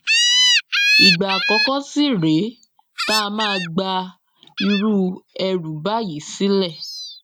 ìgbà àkọkọ sì rèé tá a máa gba irú ẹrú báyìí sílẹ